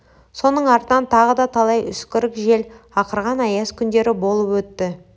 соның артынан тағы да талай үскірік жел ақырған аяз күндері болып өтті